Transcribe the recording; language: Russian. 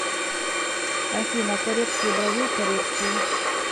афина коррекцию бровей коррекцию